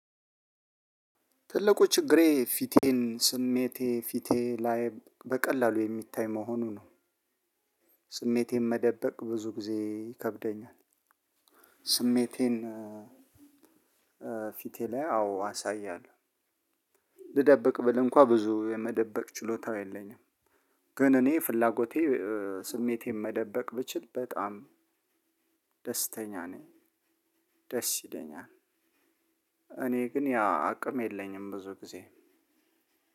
ትልቁ ችግሬ ፊቴን ስሜቴ ፊቴ ላይ በቀላሉ የሚታይ መሆኑ ነው። ስሜቴን መደበቅ ብዙ ጊዜ ይከብደኛል። ስሜቴን ፊቴ ላይ አዎ አሳያለሁ። ልደብቅ ብል እንኳ ብዙ የመደበቅ ችሎታው የለኝም። ግን እኔ ፍላጎቴ ስሜቴን መደበቅ ብችል በጣም ደስተኛ ነኝ ደስ ይለኛል። እኔ ግን ያ አቅም የለኝም ብዙ ጊዜ